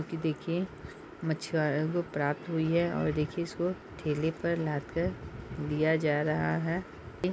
की देखिए मछुआरों को प्राप्त हुइ है और देखिए इसको ठेले पर लाद कर दिया जा रहा है। ये --